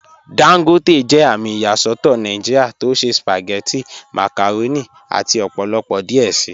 Dangote jẹ àmì ìyàsọ̀tọ̀ Nàìjíríà tó ṣẹ̀ spagẹ̀tí, màkàrọ̀nì àti ọ̀pọ̀lọpọ̀ díẹ̀ sí."